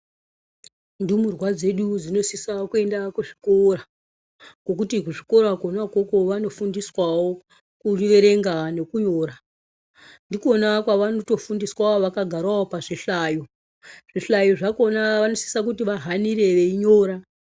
Ndumurwa dzedu dzinosise kuenda kuzvikora, ngokuti kuzvikora kona ukoko vanofundiswawo ,kuerenga nekunyora. Ndikwona kwavanotofundiswawo vakagarawo pazvihlayo. Zvihlayo zvakhona vanosisa kuti vahanire veinyora.